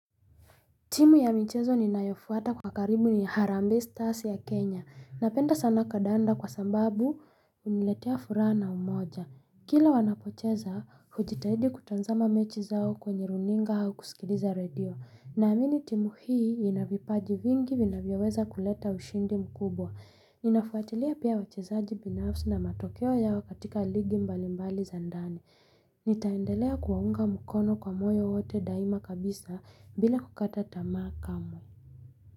Timu ya michezo ninayofuata kwa karibu ni Harambe Stars ya Kenya. Napenda sana kandanda kwa sababu huniletea furaha na umoja. Kila wanapocheza, hujitahidi kutazama mechi zao kwenye runinga hau kusikiliza radio. Naamini timu hii ina vipaji vingi vinavyoweza kuleta ushindi mkubwa. Ninafuatilia pia wachezaji binafsi na matokeo yao katika ligi mbalimbali za ndani. Nitaendelea kuwaunga mukono kwa moyo wote daima kabisa, bila kukata tamaa kamwe.